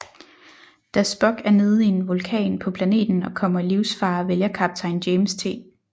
Da Spock er nede i en vulkan på planeten og kommer i livsfare vælger kaptajn James T